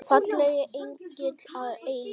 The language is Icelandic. Fallegi engill að eilífu.